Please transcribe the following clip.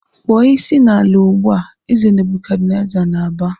"Kpọọ isi n'ala ugbu a!" Eze Nebukadneza na-aba.